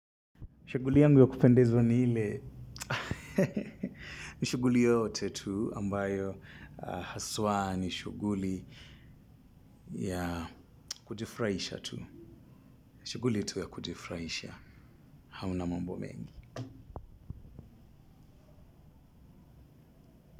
Shughuli yangu ya kupendezwa ni ile. Shughuli yoyote tu ambayo haswa ni shughuli ya kujifurahisha tu. Shughuli tu ya kujifurahisha. Hauna mambo mengi.